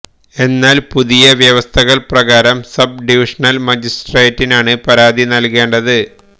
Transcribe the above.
എന്നാല് പുതിയ വ്യവസ്ഥകള് പ്രകാരം സബ് ഡിവിഷണല് മജിസ്ട്രേട്ടിനാണ് പരാതി നല്കേണ്ടത്